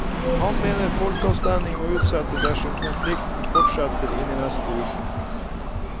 Han mener folkeavstemningen må utsettes dersom konflikten fortsetter inn i neste uke.